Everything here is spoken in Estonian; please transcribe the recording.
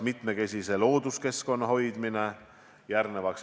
Mitmekesise looduskeskkonna hoidmine.